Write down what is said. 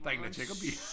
Der ingen der tjekker bilen